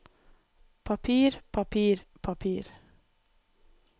papir papir papir